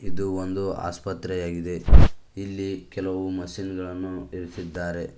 ಇದು ಒಂದು ಆಸ್ಪತ್ರೆ ಆಗಿದೆ ಇಲ್ಲಿ ಕೆಲವು ಮಷೀನ್ ಗಳನ್ನು ಇರಿಸಿದ್ದಾರೆ.